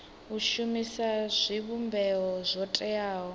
u shumisa zwivhumbeo zwo teaho